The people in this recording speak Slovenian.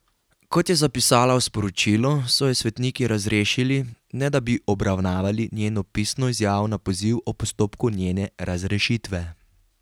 Kot je zapisala v sporočilu, so jo svetniki razrešili, ne da bi obravnavali njeno pisno izjavo na poziv o postopku njene razrešitve.